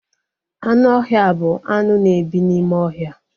Anụ ọhịa bụ anụ na ebi n'ime ohia